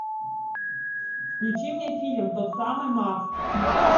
включи мне фильм тот самый макс